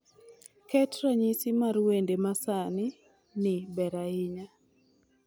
Ket ranyisi mar wende ma sani ni ber ahinya